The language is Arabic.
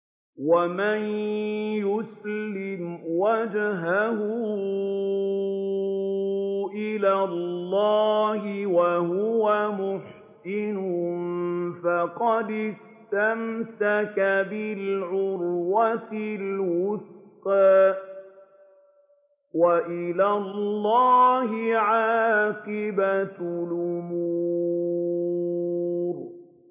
۞ وَمَن يُسْلِمْ وَجْهَهُ إِلَى اللَّهِ وَهُوَ مُحْسِنٌ فَقَدِ اسْتَمْسَكَ بِالْعُرْوَةِ الْوُثْقَىٰ ۗ وَإِلَى اللَّهِ عَاقِبَةُ الْأُمُورِ